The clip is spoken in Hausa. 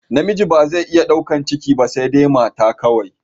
Namiji ba zai iya daukan ciki ba saidai mata kawai